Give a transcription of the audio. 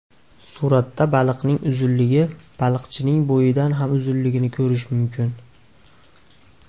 Suratda baliqning uzunligi baliqchining bo‘yidan ham uzunligini ko‘rish mumkin.